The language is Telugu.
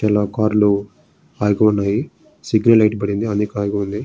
తెల్ల కార్ లు ఆగి ఉన్నాయి. సిగ్నల్ లైట్ పడి ఉంది. అందుకే ఆగి ఉంది.